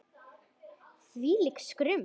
Hvílíkt skrum!